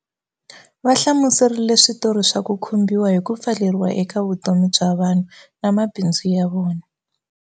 Va hlamuserile switori swa ku khumbhiwa hi ku pfaleriwa eka vutomi bya vanhu na mabindzu ya vona.